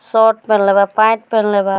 Shirt पेहेनले बा pant पेहेनले बा।